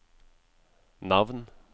navn